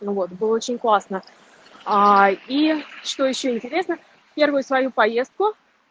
ну вот было очень классно аа и что ещё интересно первую свою поездку